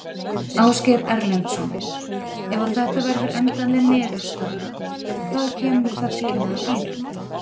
Ásgeir Erlendsson: Ef að þetta verður endanleg niðurstaða, hvað kemur það til með að þýða?